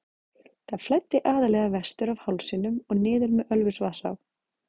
Það flæddi aðallega vestur af hálsinum og niður með Ölfusvatnsá.